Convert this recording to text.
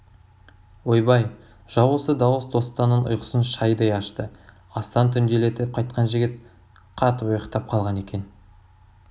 ойбай жау осы дауыс достанның ұйқысын шайдай ашты астан түнделетіп қайтқан жігіт қатып ұйықтап қалған екен